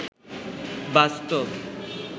বাস্তব